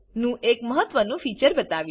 નું એક મહત્વનું ફીચર બતાવીશ